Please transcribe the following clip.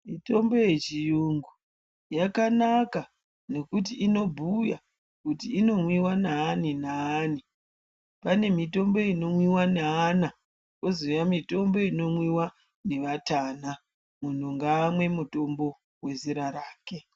Mitombo yechiyungu yakanaka, nekuti inobhuya kuti inomwiwa naani naani. Pane mitombo inomwiwa neana, kwozouya mitombo inomwiwa nevatana. Munhu ngaamwe mutombo wezera rake.